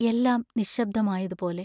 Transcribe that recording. എല്ലാം നിശ്ശബ്ദമായതുപോലെ.